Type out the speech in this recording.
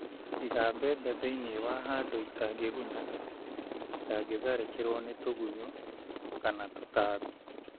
Iga mbembe thĩinĩ wa handũ itangĩgunya, itangĩtharĩkĩrwo nĩ tũgũnyũ/tũtambi